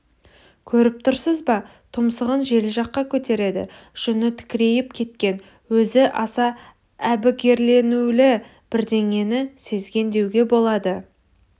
көріп тұрсыз ба тұмсығын жел жаққа көтереді жүні тікірейіп кеткен өзі аса әбігерленулі бірдеңені сезген деуге болады